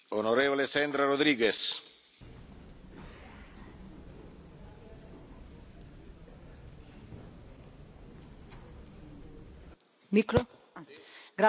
Señor presidente, usted ha hablado de la cuarta revolución industrial y a mí me gustaría saber qué propuestas tiene encima de la mesa para combatir el enorme desempleo que ya se ha